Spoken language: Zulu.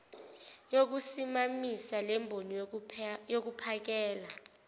yokusimamisa lemboni yokuphakela